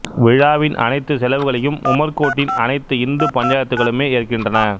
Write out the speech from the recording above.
விழாவின் அனைத்து செலவுகளையும் உமர்கோட்டின் அனைத்து இந்து பஞ்சாயத்துகளுமே ஏற்கின்றன